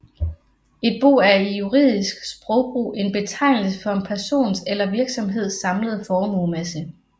Et bo er i juridisk sprogbrug en betegnelse for en persons eller virksomheds samlede formuemasse